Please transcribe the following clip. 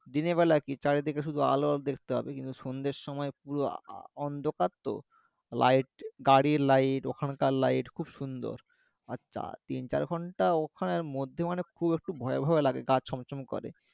দিনের বেলা কি চারিদিকে শুধু আলো দেখতে পাবে কিন্তু সন্ধ্যের সময় পুরো আ আ অন্ধকার তো light গাড়ির light ওখানকার light খুব সুন্দর আর চা তিন চার ঘন্টা ওখানের মধ্যে মানে খুব একটু ভয় ভয়ও লাগে গা ছম ছম করে